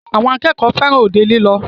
Àwọn akẹ́kọ̀ọ́ fẹràn òde lílọ.